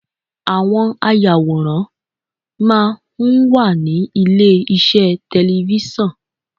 Àwọn ayàwòrán máa ń wà ní ilé iṣẹ́ tẹlẹfísọ̀n.